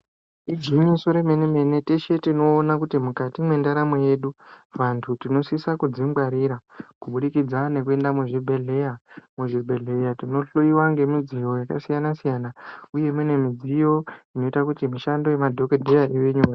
Igwinyiso yemene mene teshe tinoona mukati mwendaramo yedu antu tinosise kuzvingwarira kubudikidza nekuenda muzvibhedhlera, muzvibhedhlera tinohloiwa nemidziyo yakasiyana siyana uye imweni midziyo inoita kuti mishando yemadhokodheya ive nyore.